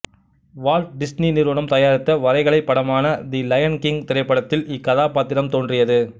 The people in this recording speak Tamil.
வால்ட் டிஸ்னி நிறுவனம் தயாரித்த வரைகலைப் படமான தி லயன் கிங் திரைப்படத்தில் இக்கதாப்பாத்திரம் தோன்றியது